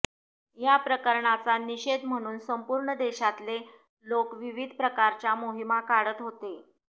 या प्रकरणाचा निषेध म्हणून संपूर्ण देशातले लोक विविध प्रकारच्या मोहिमा काढत होते